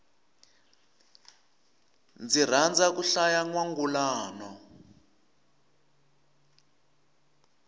ni rhandza ku hlaya nwangulano